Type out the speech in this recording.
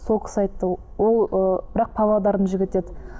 сол кісі айтты ол ыыы бірақ павлодардың жігіті еді